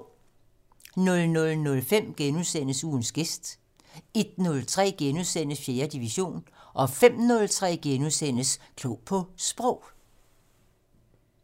00:05: Ugens gæst * 01:03: 4. division * 05:03: Klog på Sprog *